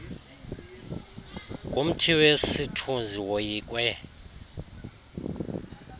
ngumthi wesithunzi woyikwe